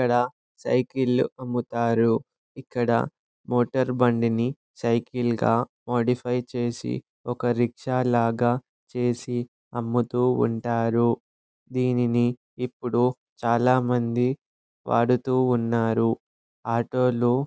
ఇక్కడ సైకిల్ లు అమ్ముతారు. ఇక్కడ మోతేరబండిని సైకిల్ గా మోడీఫ్య్ చేసి ఒక రిక్షా లాగా చేసి అమ్ముతూ ఉంటారు. దేనిని ఇప్పుడు చాల మంది వాడుతూ ఉన్నారు. ఆటో --